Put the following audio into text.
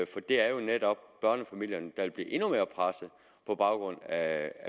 for det er jo netop børnefamilierne der vil blive endnu mere presset på baggrund af